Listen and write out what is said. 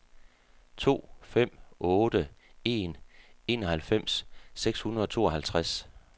to fem otte en enoghalvfems seks hundrede og tooghalvtreds